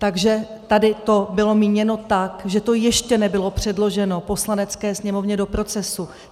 Takže tady to bylo míněno tak, že to ještě nebylo předloženo Poslanecké sněmovně do procesu.